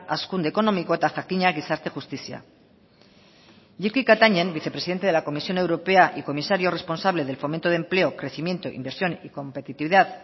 hazkunde ekonomiko eta jakina gizarte justizia jyrki katainen vicepresidente de la comisión europea y comisario responsable del fomento de empleo crecimiento inversión y competitividad